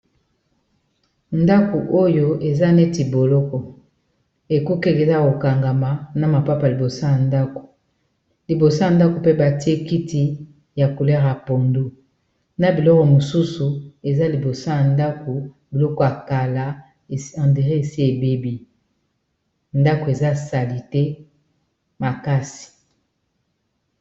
Ndako oyo eza neti boloko ekuke ezali yako kangama na mapapa liboso ya ndako liboso ya ndako mpe batie kiti ya couleur ya pondu na biloko mosusu eza liboso ya ndako biloko ya kala ondiré esi ebebi ndako eza salite makasi.